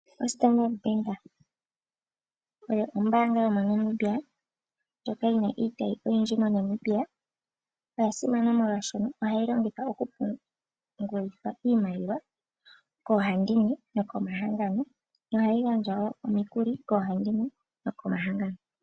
OStandard Bank oyo ombanga yomoNamibia ndjoka yina iitayi oyindji moNamibia. Oya simana molwashono ohayi longithwa oku pungulithwa iimaliwa koohandimwe nokomahangano. Nohayi gandja wo omikuli koohandimwe nokomahangano.